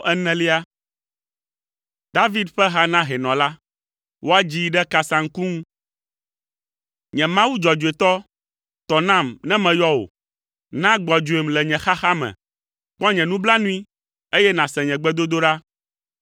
David ƒe ha na hɛnɔ la. Woadzii ɖe kasaŋku ŋu. Nye Mawu dzɔdzɔetɔ, tɔ nam ne meyɔ wò. Na gbɔdzɔem le nye xaxa me; kpɔ nye nublanui, eye nàse nye gbedodoɖa.